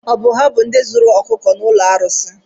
Ọ bụ ha bụ ndị zuru ọkụkọ n'ụlọ arụsị?